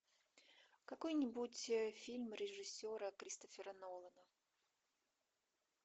какой нибудь фильм режиссера кристофера нолана